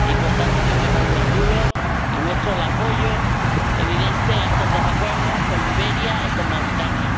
Y, por tanto, yo me congratulo y muestro el apoyo evidente a estos dos acuerdos con Liberia y con Mauritania.